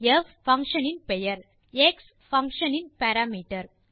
ப் பங்ஷன் இன் பெயர் எக்ஸ் பங்ஷன் இன் பாராமீட்டர்